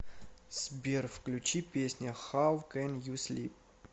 сбер включи песня хау кэн ю слип